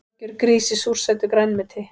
Algjör grís í súrsætu grænmeti